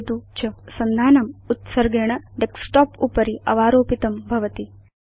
भवान् लक्षयति यत् सन्धानम् उत्सर्गेण डेस्कटॉप उपरि अवारोपितं भवति